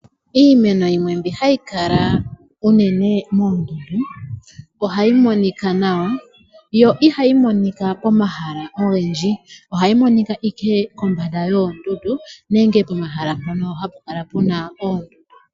Iimeno yimwe mbi hayi kala unene moondundu ohayi monika nawa. Yo ihayi monika pomahala ogendji. Ohayi monika ike kombanda yoondundu nenge pomahala mpono hapu kala oondundu.